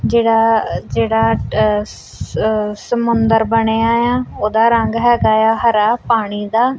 ਜੇਹੜਾ ਜੇਹੜਾ ਆਹ ਸ ਸਮੁੰਦਰ ਬਣਿਆਯਾ ਓਹਦਾ ਰੰਗ ਹੈਗਾ ਯਾ ਹਰਾ ਪਾਣੀ ਦਾ।